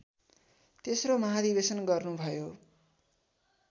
तेस्रो महाधिवेशन गर्नुभयो